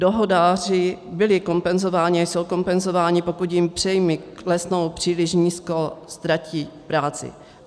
Dohodáři byli kompenzováni a jsou kompenzováni, pokud jim příjmy klesnou příliš nízko, ztratí práci.